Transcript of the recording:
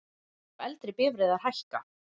Gjöld á eldri bifreiðar hækka